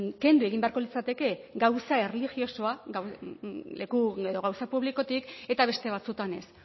kendu egin beharko litzateke gauza erlijiosoa gauza publikotik eta beste batzuetan ez